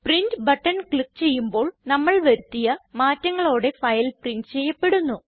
print button click ചെയ്യുമ്പോൾ നമ്മൾ വരുത്തിയ മാറ്റങ്ങളോടെ ഫയൽ പ്രിന്റ് ചെയ്യപ്പെടുന്നു